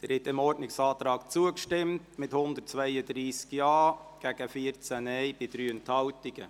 Sie haben diesem Ordnungsantrag zugestimmt mit 132 Ja- gegen 14 Nein-Stimmen bei 3 Enthaltungen.